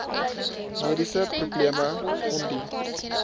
mediese probleme ondie